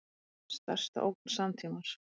Stærsta ógn samtímans